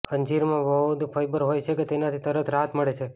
અંજીરમાં બહુ બધું ફયબર હોય છે કે જેનાથી તરત રાહત મળે છે